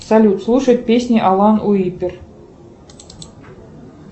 салют слушать песни алан уиппер